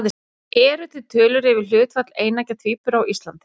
Eru til tölur yfir hlutfall eineggja tvíbura á Íslandi?